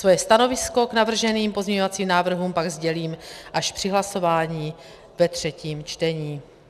Svoje stanovisko k navrženým pozměňovacím návrhům pak sdělím až při hlasování ve třetím čtení.